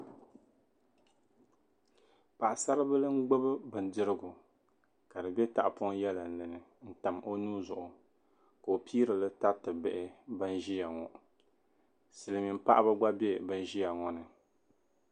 Paɣisaribila n-gubi bidirigu ka di be tahipɔŋ yɛlinli in n-tam o nua zuɣu ka o piiri li n-tariti bihi ban ʒiya ŋɔ silimiin'paɣiba gba be ban ʒiya ŋɔ ni